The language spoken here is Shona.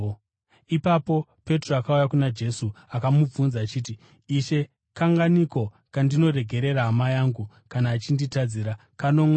Ipapo Petro akauya kuna Jesu akamubvunza achiti, “Ishe, kanganiko kandingaregerera hama yangu kana achinditadzira? Kanomwe here?”